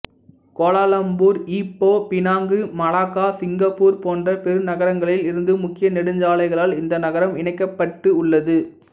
Kuala Lumpur Ipoh Penang Malacca Singapore போன்ற பெருநகரங்களில் இருந்து முக்கிய நெடுஞ்சாலைகளால் இந்த நகரம் இணைக்கப்பட்டு உள்ளது